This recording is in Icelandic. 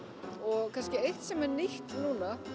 og kannski eitt sem er nýtt núna